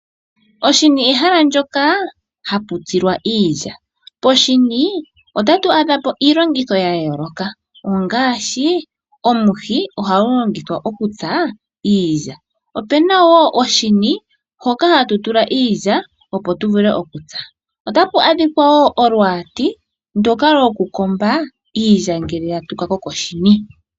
Oshini ehala lyoka haputsilwa iilya. Poshini otatu adha po iilongitho ya yooloka ngaashi omuhi ngoka hagu longithwa okutsa iilya, opuna wo oshini hoka hatu tula iilya opo tu vule okutsa. Otapu adhika wo olwaati ndoka halukombo iilya ngele ya tuka ko koshini.